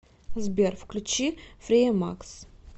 сбер включи фреемакс